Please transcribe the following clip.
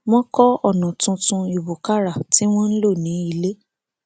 wọn kọ ònà tuntun ìwúkàrà tí wọn ń lò ní ilé